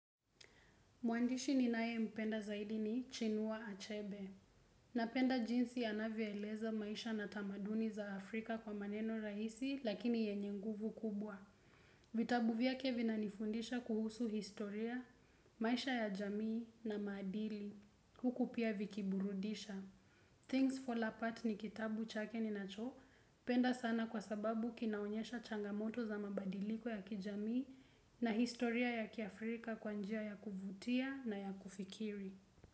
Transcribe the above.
Mwandishi ni nae mpenda zaidi ni Chinua Achebe. Napenda jinsi anavyoeleza maisha na tamaduni za Afrika kwa maneno raisi lakini yenye nguvu kubwa. Vitabuvya kevi na nifundisha kuhusu historia, maisha ya jamii na madili. Huku pia vikiburudisha. Things Fall Apart ni kitabu chake ni nacho. Penda sana kwa sababu kinaonyesha changamoto za mabadiliko ya kijamii na historia ya Kiafrika kwanjia ya kuvutia na ya kufikiri.